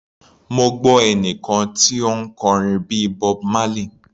Mo gbọ́ ẹnìkan tí ó ń kọrin bíi Bob Marley.